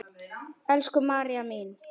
Elsku María mín.